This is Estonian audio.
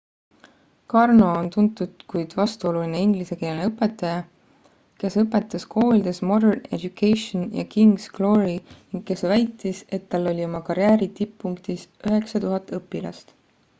karno on tuntud kuid vastuoluline inglise keele õpetaja kes õpetas koolides modern education ja king's glory ning kes väitis et tal oli oma karjääri tipppunktis 9000 õpilast